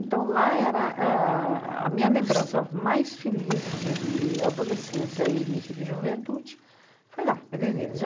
Então, lá era a a minha lembrança mais feliz dias e adolescência e início de juventude, foi lá, Pederneiras.